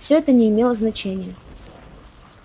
всё это не имело значения